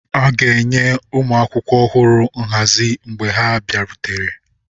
A ga-enye ụmụ akwụkwọ ọhụrụ nhazi mgbe ha bịarutere.